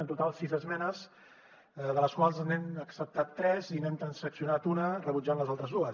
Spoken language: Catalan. en total sis esmenes de les quals n’hem acceptat tres i n’hem transaccionat una rebutjant les altres dues